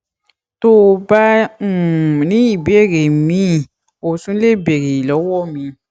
tó o bá um ní ìbéèrè míì o tún lè béèrè lọwọ mi